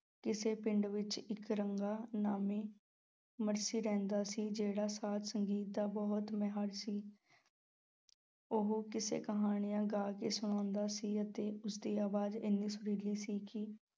ਕਿਸੇ ਪਿੰਡ ਵਿੱਚ ਇੱਕ ਰੰਗਾ ਨਾਮੀ ਮਰਾਸੀ ਰਹਿੰਦਾ ਸੀ, ਜਿਹੜਾ ਸਾਜ਼-ਸੰਗੀਤ ਦਾ ਬਹੁਤ ਮਾਹਰ ਸੀ ਉਹ ਕਿੱਸੇ-ਕਹਾਣੀਆਂ ਗਾ ਕੇ ਸੁਣਾਉਂਦਾ ਸੀ ਅਤੇ ਉਸ ਦੀ ਅਵਾਜ਼ ਏਨੀ ਸੁਰੀਲੀ ਸੀ ਕਿ